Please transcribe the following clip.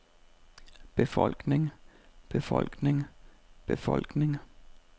befolkning befolkning befolkning